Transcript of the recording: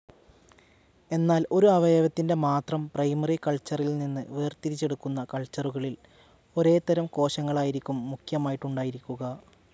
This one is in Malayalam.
എന്നാൽ ഒരു അവയവത്തിൻ്റെ മാത്രം പ്രൈമറി കൾച്ചറിൽനിന്ന് വേർതിരിച്ചെടുക്കുന്ന കൾച്ചറുകളിൽ ഒരേതരം കോശങ്ങളായിരിക്കും മുഖ്യമായിട്ടുണ്ടായിരിക്കുക.